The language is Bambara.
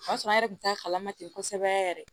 O y'a sɔrɔ an yɛrɛ tun t'a kalama ten kosɛbɛ yɛrɛ